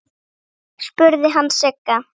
spurði hann Sigga.